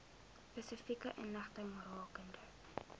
spesifieke inligting rakende